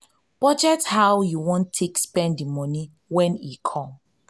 budget how you want take spend the money when e come